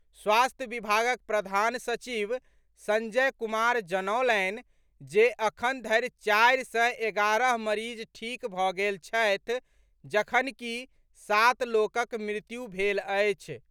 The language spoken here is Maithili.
स्वास्थ्य विभागक प्रधान सचिव संजय कुमार जनौलनि जे अखन धरि चारि सय एगारह मरीज ठीक भऽ गेल छथि जखनकि सात लोकक मृत्यु भेल अछि।